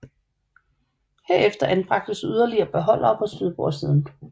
Herefter anbragtes yderligere beholdere på styrbordssiden